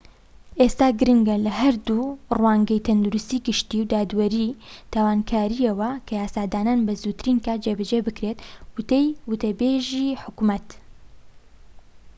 ئێستا گرنگە لە هەردوو ڕوانگەی تەندروستی گشتی و دادوەری تاوانکاریەوە کە یاسادانان بە زووترین کات جێبەجێ بکرێت وتەی وتەبێژی حکومەت